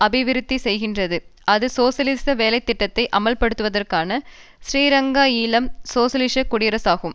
அபிவிருத்தி செய்கின்றது அது சோசியலிச வேலை திட்டத்தை அமுல்படுத்துவதற்கான ஸ்ரீலங்காஈழம் சோசியலிச குடியரசாகும்